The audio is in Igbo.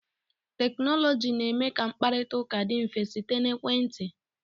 Teknọlọjii na-eme ka mkparịta ụka dị mfe site n'ekwentị.